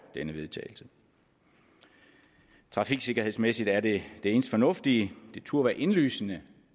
denne vedtagelse trafiksikkerhedsmæssigt er det det eneste fornuftige det turde være indlysende